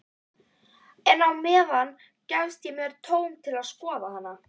En á meðan gefst mér tóm til að skoða hana.